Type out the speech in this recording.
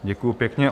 Děkuji pěkně.